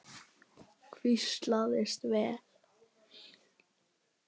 Hvílast vel.